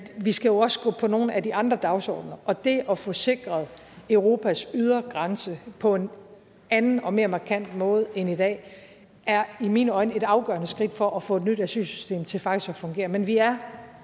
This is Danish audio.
vi skal jo også gå på nogle af de andre dagsordener og det at få sikret europas ydre grænse på en anden og mere markant måde end i dag er i mine øjne et afgørende skridt for at få et nyt asylsystem til faktisk at fungere men vi er